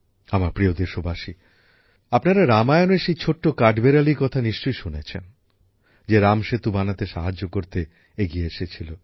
আমার প্রিয় দেশবাসী আপনারা রামায়ণের সেই ছোট্ট কাঠবিড়ালির কথা নিশ্চয়ই শুনেছেন যে রামসেতু বানাতে সাহায্য করতে এগিয়ে এসেছিল